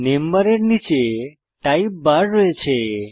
name বারের নীচে type bar রয়েছে